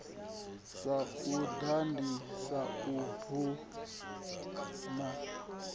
sa u ḓadzisa hu bvaho